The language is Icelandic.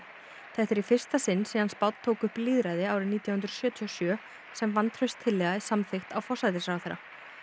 þetta er í fyrsta sinn síðan Spánn tók upp lýðræði árið nítján hundruð sjötíu og sjö sem vantrauststillaga er samþykkt á forsætisráðherra